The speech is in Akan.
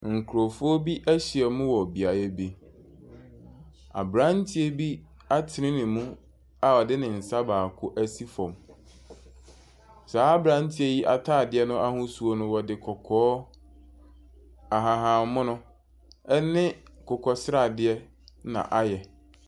Nkurɔfoɔ bi ahyia mu wɔ beaeɛ bi. Aberanteɛ bi atene ne mu a ɔde ne nsa baako asi fam. Saa aberanteɛ yi atadeɛ no ahosuo no, wɔde kɔkɔɔ ahahammono ne akokɔsradeɛ na ayɛ.